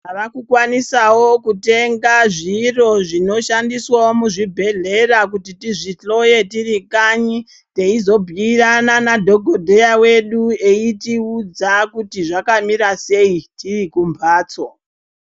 Tava kukwanisawo kutenga zviro zvinoshandiswawo muzvibhedhlera kuti tizvihloye tiri kanyi teizobhuirana nadhokodheya wedu eitiudza kuti zvakamira sei tiri kumbatso